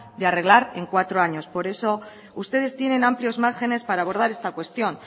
de arreglar en cuatro años por eso ustedes tienen amplios márgenes para abordar esta cuestión